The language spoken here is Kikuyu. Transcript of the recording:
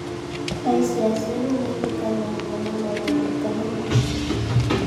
aĩci acio nimetĩkanĩiri na mwene nduka na magĩthiĩ